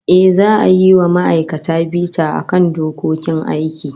Ehh, za'a yi wa ma'aikata bita akan dokokin aiki